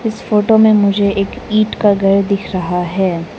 इस फोटो में मुझे एक ईंट का घर दिख रहा है।